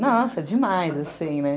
Nossa, demais, assim, né?